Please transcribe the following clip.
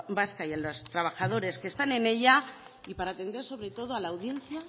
vasca y a los trabajadores que están en ella y para atender sobre todo a la audiencia